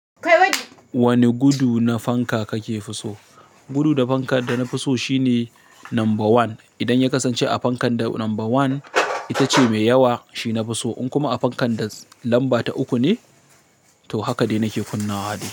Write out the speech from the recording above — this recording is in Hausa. Wane gudu na fanka kake fi so? Gudu na fanka da na fi so shine number one. Idan ya kasance a fankan da number one ita ce mai yawa, shi na fi so. In kuma a fankan da lamba ta uku ne, to haka dai nake kunna wa dai.